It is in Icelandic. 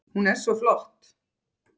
Hún er svo flott!